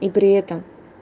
и при этом